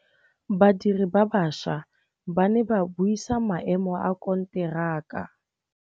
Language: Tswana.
Badiri ba baša ba ne ba buisa maêmô a konteraka.